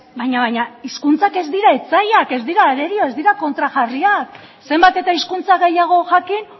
baina baina hizkuntzak ez dira etsaiak ez dira arerio ez dira kontrajarriak zenbat eta hizkuntza gehiago jakin